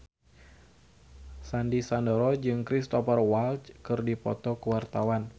Sandy Sandoro jeung Cristhoper Waltz keur dipoto ku wartawan